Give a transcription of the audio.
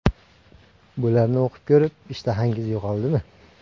Bularni o‘qib ko‘rib, ishtahangiz yo‘qoldimi?